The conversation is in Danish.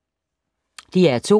DR2